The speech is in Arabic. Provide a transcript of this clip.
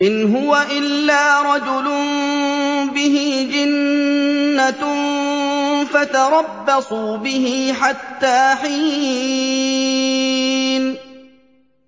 إِنْ هُوَ إِلَّا رَجُلٌ بِهِ جِنَّةٌ فَتَرَبَّصُوا بِهِ حَتَّىٰ حِينٍ